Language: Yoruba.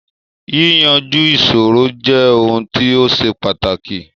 Yíyanju ìṣòro jẹ ohun ti ó ṣe pàtàkì